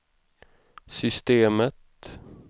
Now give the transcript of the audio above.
systemet